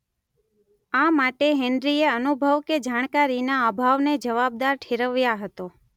આ માટે હેન્ડ્રીએ અનુભવ કે જાણકારીના અભાવને જવાબદાર ઠેરવ્યાં હતો.